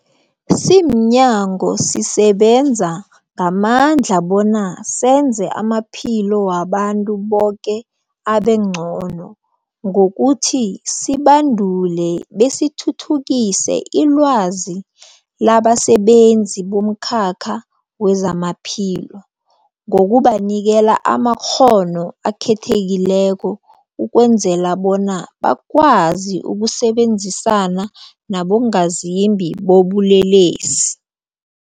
Simnyango, sisebenza ngamandla bona senze amaphilo wabantu boke abengcono ngokuthi sibandule besithuthukise ilwazi labasebenzi bomkhakha wezamaphilo ngokubanikela amakghono akhethekileko ukwenzela bona bakwazi ukusebenzisana nabongazimbi bobulelesi.